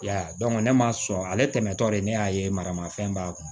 I y'a ye ne ma sɔn ale tɛmɛtɔ de ne y'a ye maramafɛn b'a kun